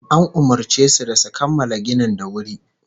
An umurce su da su kammala ginin da wuri